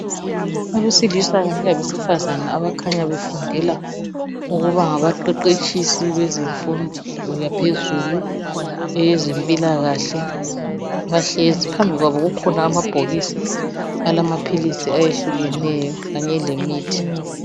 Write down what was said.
Abesilisa kanye labesifazana abakhanya befundela ukuba ngabaqeqetshisi bezemfundo yaphezulu eyezempilakahle bahlezi phambikwabo kukhona amabhokisi alamaphilisi ahlukeneyo kanye lemithi.